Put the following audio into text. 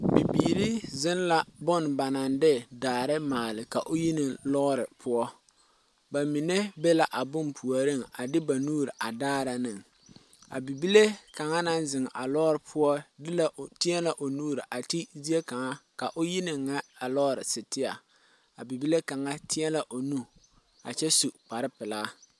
Bibiiri ziŋ la bone ba naŋ de daare maali k'o yeni lɔɔre poɔ, ba mine be la a bone puoriŋ a de ba nuuri pare daare ne,a bibile kaŋa naŋ ziŋ a lɔɔre poɔ de la o nu ti ne zea kaŋa naŋ waa nyɛ a lɔɔre sitiaa na,a bibile kaŋa teɛ la o nu kyɛ su kparrepilaa.